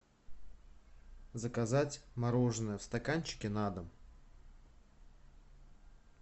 заказать мороженое в стаканчике на дом